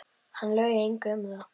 Hann laug engu um það.